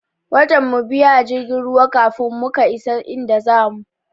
Watan mu biyu a jirgin ruwan kafin muka isa inda zamu.